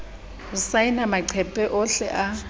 ho saena maqephe ohle a